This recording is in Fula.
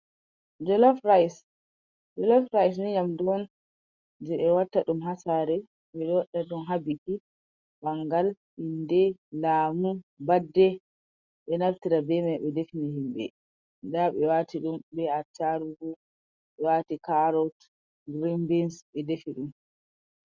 Jolof rice: Jolof rice ni nyamdu on je ɓe watta ɗum ha sare. Ɓe waɗa ɗum ha biki bangal, inde, lamu, birthday. ɓe ɗo naftira be mai ɓe define himɓe. Nda ɓe wati ɗum be attarugu, ɓe wati carrot, grin bans ɓe defi ɗum.